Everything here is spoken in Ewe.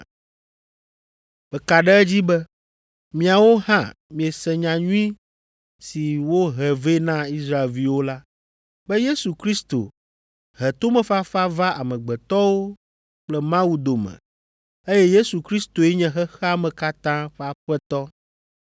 Meka ɖe edzi be miawo hã miese nyanyui si wohe vɛ na Israelviwo la, be Yesu Kristo he tomefafa va amegbetɔwo kple Mawu dome eye Yesu Kristoe nye xexea me katã ƒe Aƒetɔ.